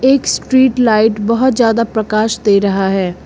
एक street light बहुत ज्यादा प्रकाश दे रहा है।